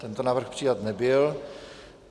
Tento návrh přijat nebyl.